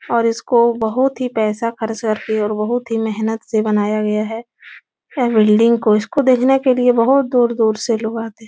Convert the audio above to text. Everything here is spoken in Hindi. और इसको बहुत ही पैसा खर्च करके और बहुत ही मेहनत से बनाया गया है ऐ बिल्डिंग को. इसको देखने के लिए बहुत ही दूर-दूर से लोग आते है।